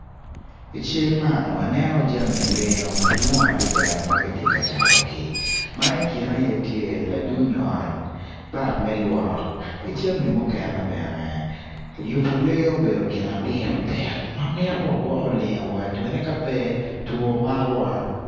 I cal man waneno jami lengo madwong adada ma gitye ka catogi na i kine aye tye latuny ot bab me lwok ki jami mukene bene yubu lengo obedo gin ma pire tek ma mito wagwokko lengowa pien-ni ka pe two makowa